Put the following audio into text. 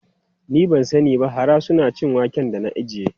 Ni ban sani ba, hara suna cin wake da na ajiye.